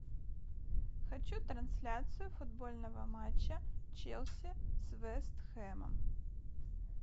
хочу трансляцию футбольного матча челси с вест хэмом